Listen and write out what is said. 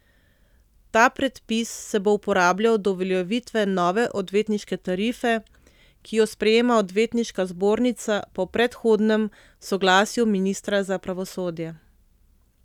Ta predpis se bo uporabljal do uveljavitve nove odvetniške tarife, ki jo sprejema odvetniška zbornica po predhodnem soglasju ministra za pravosodje.